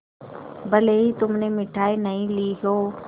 भले ही तुमने मिठाई नहीं ली हो